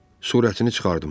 Sürətini çıxardım.